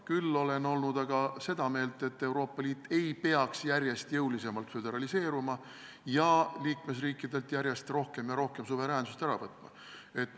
Küll olen olnud seda meelt, et Euroopa Liit ei peaks järjest jõulisemalt föderaliseeruma ja liikmesriikidelt järjest rohkem suveräänsust ära võtma.